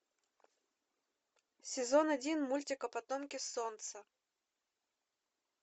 сезон один мультика потомки солнца